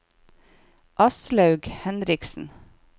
Aslaug Henriksen